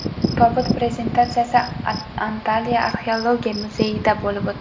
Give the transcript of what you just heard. Tobut prezentatsiyasi Antalya arxeologiya muzeyida bo‘lib o‘tdi.